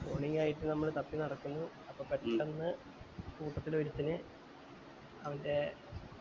morning ആയിട്ട് നമ്മൾ തപ്പി നടക്കുന്നു അപ്പൊ പെട്ടന്ന് കൂട്ടത്തിൽ ഒരുത്തന് അവൻറെ